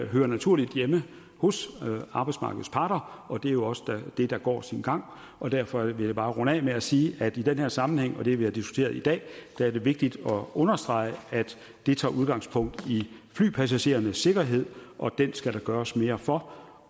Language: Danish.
hører naturligt hjemme hos arbejdsmarkedets parter og det er jo også det der går sin gang og derfor vil jeg bare runde af med at sige at i den her sammenhæng og det vi har diskuteret i dag er det vigtigt at understrege at det tager udgangspunkt i flypassagerernes sikkerhed og den skal der gøres mere for